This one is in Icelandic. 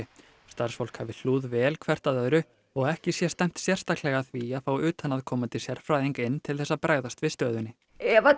starfsfólk hafi hlúð vel hvert að öðru og ekki sé stefnt sérstaklega að því að fá utanaðkomandi sérfræðing inn til þess að bregðast við stöðunni ef